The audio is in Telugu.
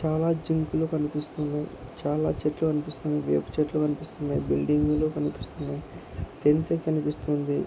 చాలా జింకలు కనిపిస్తున్నాయి. చాలా చెట్లు కనిపిస్తున్నాయి. వేప చెట్లు కనిపిస్తున్నాయి. బిల్డింగ్ లు కనిపిస్తున్నాయి. --